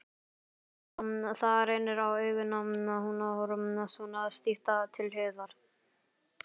Það reynir á augun að horfa svona stíft til hliðar.